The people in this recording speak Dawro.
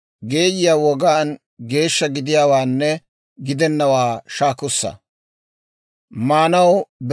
Med'inaa Goday Musanne Aaroona hawaadan yaageedda;